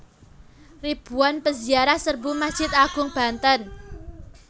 Ribuan Peziarah Serbu Masjid Agung Banten